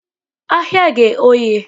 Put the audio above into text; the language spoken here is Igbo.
Ahịa ghe oghe.